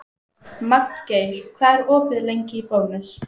Magngeir, hvað er opið lengi í Bónus?